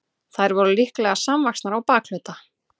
þær voru líklega samvaxnar á bakhluta